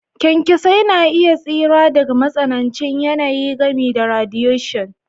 kyankyasai na iya tsira daga matsanancin yanayi, gami da radiation.